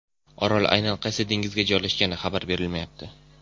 Orol aynan qaysi dengizda joylashgani xabar berilmayapti.